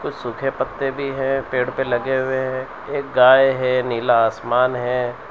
कुछ सूखे पत्ते भी हैं पेड़ पे लगे हुए हैं एक गाय है नीला आसमान हैं।